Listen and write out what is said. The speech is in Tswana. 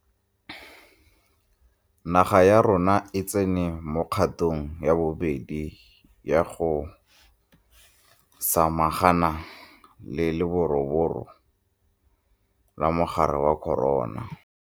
Naga ya rona e tsene mo kgatong ya bobedi ya go sa magana le leroborobo la mogare wa corona.